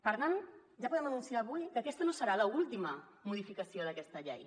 per tant ja podem anunciar avui que aquesta no serà l’última modificació d’aquesta llei